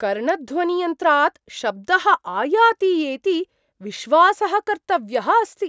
कर्णध्वनियन्त्रात् शब्दः आयाति एति विश्वासः कर्तव्यः अस्ति ।